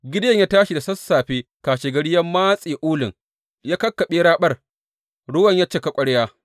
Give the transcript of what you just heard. Gideyon ya tashi da sassafe kashegari, ya matse ulun ya kakkaɓe raɓar, ruwan ya cika ƙwarya.